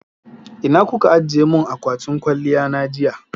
Ina kuka ajiye mun akwatin kwaliya na jiya?